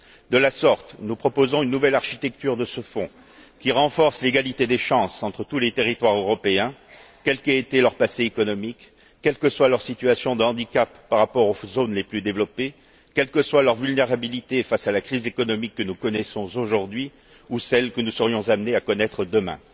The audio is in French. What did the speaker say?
De la sorte, nous proposons une nouvelle architecture de ce fonds qui renforce l'égalité des chances entre tous les territoires européens, quel qu'ait été leur passé économique, quelle que soit leur situation de handicap par rapport aux zones les plus développées, quelle que soit leur vulnérabilité face à la crise économique que nous connaissons aujourd'hui ou celle que nous serions amenés à connaître demain.